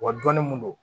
Wa dɔnni mun don